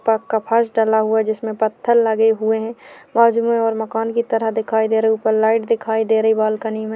पक्का फर्श डला हुआ है जिसमें पत्थर लगे हुए हैं बाजू में और मकान की तरह दिखाई दे रहे हैं ऊपर लाइट दिखाई दे रही है बालकनी में--